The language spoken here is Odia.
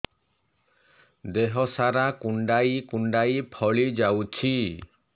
ଦେହ ସାରା କୁଣ୍ଡାଇ କୁଣ୍ଡାଇ ଫଳି ଯାଉଛି